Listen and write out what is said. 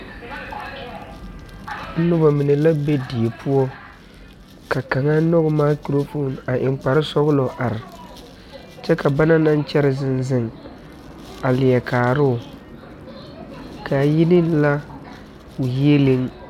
Nobɔ mine la be die poɔ ka kaŋa nyoge mikrofoon a eŋ kparesɔglɔ a are kyɛ ka ba naŋ kyɛre zeŋ zeŋ a leɛ kaaroo kaŋ yi ne ŋa o yieleŋ